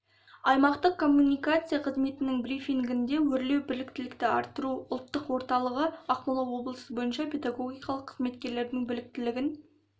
аймақтық коммуникация қызметінің брифингінде өрлеу біліктілікті арттыру ұлттық орталығы ақмола облысы бойынша педагогикалық қызметкерлердің біліктілігін